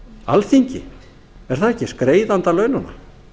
alþingi er það ekki greiðandi að laununum